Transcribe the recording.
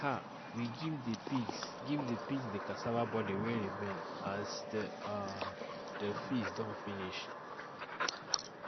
um we give the pigs give the pigs the cassava body way remain as the um the feast don finish